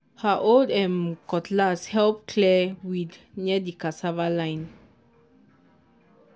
her old um cutlass help clear weed near the cassava line.